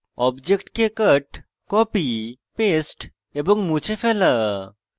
অবজেক্টকে cut copy paste এবং মুছে ফেলা